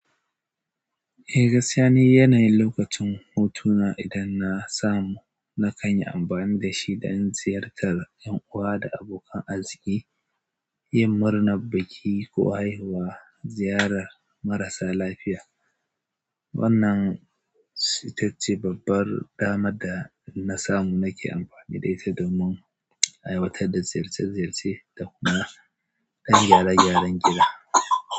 Eh, gaskiya ni yanayin lokacin hutuna idan na samu na kan yi amfani da shi don ziyartar ƴan uwa da abokan arziki, yin murna biki ko haihuwa, ziyarar marasa lafiya. Wannan saitacci babbar dama da na samu nake amfani da ita domin aiwatar da ziyarce-ziyarce da kuma ɗan gyara-gyaran gida.